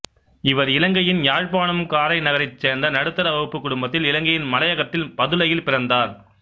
இவர் இலங்கையின் யாழ்ப்பாணம் காரைநகரைச் சேர்ந்த நடுத்தர வகுப்புக் குடும்பத்தில் இலங்கையின் மலையகத்தில் பதுளையில் பிறந்தார்